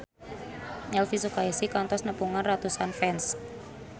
Elvy Sukaesih kantos nepungan ratusan fans